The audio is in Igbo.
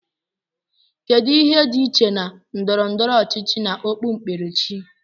kedu ihe dị iche na ndọrọ ndọrọ ọchịchị na okpu kperechi